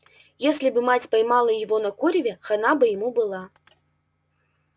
если бы мать поймала его на куреве хана бы ему была